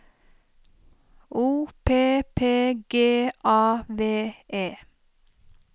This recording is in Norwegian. O P P G A V E